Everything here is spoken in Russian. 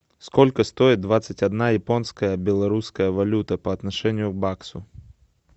сколько стоит двадцать одна японская белорусская валюта по отношению к баксу